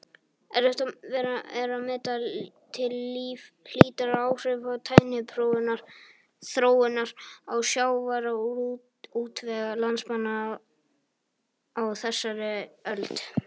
Erfitt er að meta til hlítar áhrif tækniþróunar á sjávarútveg landsmanna á þessari öld.